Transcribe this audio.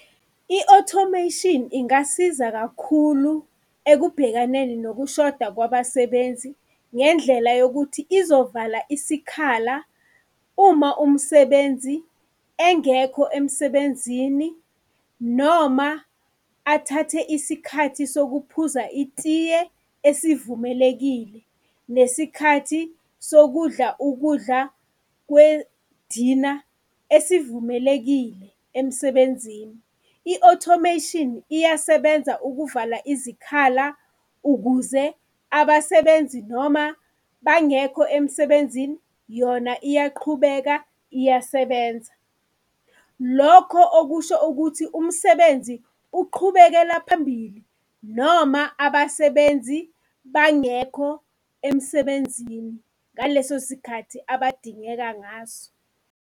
I-automation ingasiza kakhulu ekubhekaneni nokushoda kwabasebenzi, ngendlela yokuthi izovala isikhala uma umsebenzi engekho emsebenzini noma athathe isikhathi sokuphuza itiye esivumelekile, nesikhathi sokudla ukudla kwedina esivumelekile emsebenzini. I-automation iyasebenza ukuvala izikhala ukuze abasebenzi noma bangekho emsebenzini yona iyaqhubeka iyasebenza. Lokho okusho ukuthi umsebenzi uqhubekela phambili noma abasebenzi bangekho emsebenzini ngaleso sikhathi abadingeka ngaso.